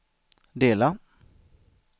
dela